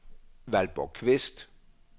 Valborg Qvist